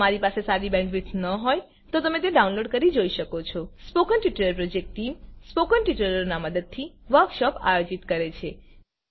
જો તમારી પાસે સારી બેન્ડવિડ્થ ન હોય તો તમે ડાઉનલોડ કરી તે જોઈ શકો છો spoken tutorial project team spoken ટ્યુટોરીયલોની મદદથી વર્કશોપ આયોજિત કરે છે